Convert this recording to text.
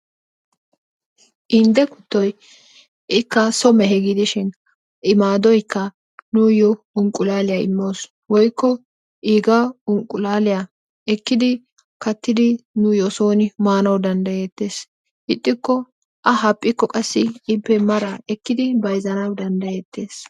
inde kuttoy ikka so mehe gidishin i maadoykka nuuyo inqqullaliya imawusu. woykko iigaa inqqulaaliya ekkidi kattidi nuuyo sooni maanawu danddayeetees. ixxikko a haphphikko qassi ippe mara ekkidi bayzzanawu danddayetees.